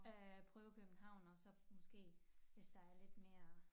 At prøve København og så måske hvis der er lidt mere